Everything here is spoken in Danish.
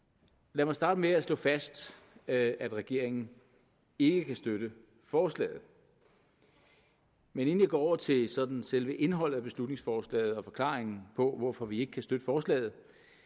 lad mig starte med at slå fast at regeringen ikke kan støtte forslaget men inden jeg går over til sådan selve indholdet af beslutningsforslaget og forklaringen på hvorfor vi ikke kan støtte forslaget